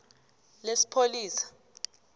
lesipholisa